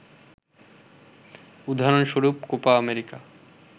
উদাহরণস্বরূপ, Copa America